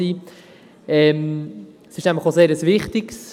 es ist nämlich ein sehr wichtiges.